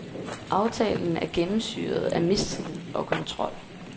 Aftalen er gennemsyret af mistillid og kontrol.